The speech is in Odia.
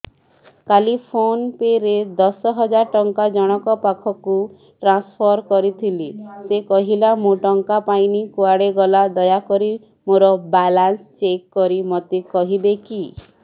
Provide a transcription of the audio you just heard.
କାଲି ଫୋନ୍ ପେ ରେ ଦଶ ହଜାର ଟଙ୍କା ଜଣକ ପାଖକୁ ଟ୍ରାନ୍ସଫର୍ କରିଥିଲି ସେ କହିଲା ମୁଁ ଟଙ୍କା ପାଇନି କୁଆଡେ ଗଲା ଦୟାକରି ମୋର ବାଲାନ୍ସ ଚେକ୍ କରି ମୋତେ କହିବେ କି